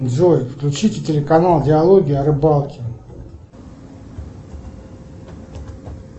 джой включите телеканал диалоги о рыбалке